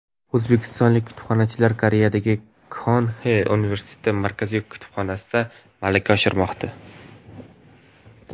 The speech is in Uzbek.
O‘zbekistonlik kutubxonachilar Koreyadagi Kyonxi universiteti Markaziy kutubxonasida malaka oshirmoqda.